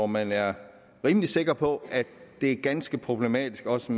man er rimelig sikker på er ganske problematisk også